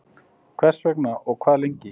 Hvers vegna og og hvað lengi?